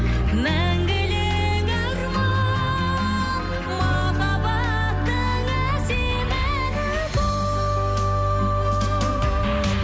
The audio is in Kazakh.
мәңгілік арман махаббаттың әсем әні бұл